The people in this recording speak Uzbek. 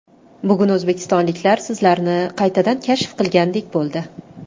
Bugun o‘zbekistonliklar sizlarni qaytadan kashf qilgandek bo‘ldi.